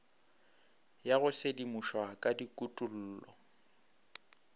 ya go sedimošwa ka dikutullo